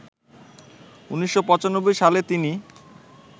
১৯৯৫ সালে তিনি